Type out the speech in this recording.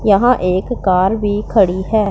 यहां एक कार भी खड़ी है।